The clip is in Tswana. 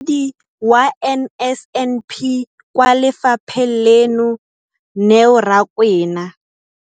Mokaedi wa NSNP kwa lefapheng leno, Neo Rakwena.